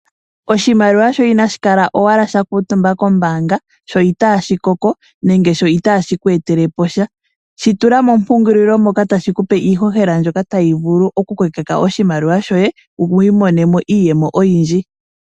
Oshimaliwa shoye inashi kala owala sha kuutumba kombaanga, sho itashi koko nenge sho itashi ku etele po sha. Shi tula mompungululi mo ka tashi ku etele ihohela mbyoka tayi vulu okukokeka oshimaliwa shoye, wu imonenemo iiyemo oyindji.